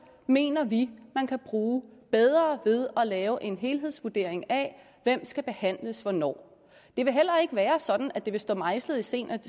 mener vi man kan bruge bedre ved at lave en helhedsvurdering af hvem skal behandles hvornår det vil heller ikke være sådan at det vil stå mejslet i sten at